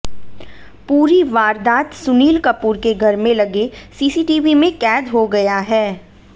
पूरी वारदात सुनील कपूर के घर में लगे सीसीटीवी में कैद हो गया है